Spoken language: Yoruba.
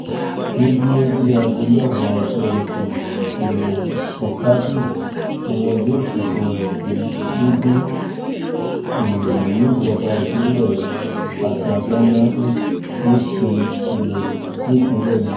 ní déédéé aago mẹ́wàá ọjọ́ etí um furcabee ni wọn yóò sìnkú rẹ̀ sí gúdí um níjọba ìbílẹ̀ akanganá nípínjlẹ̀ náà